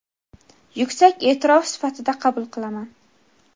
yuksak e’tirofi sifatida qabul qilaman.